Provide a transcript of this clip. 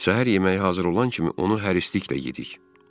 Səhər yeməyi hazır olan kimi onu hərisliklə yedik.